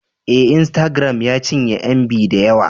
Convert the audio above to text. Ee, Instagram ya cinye MB da yawa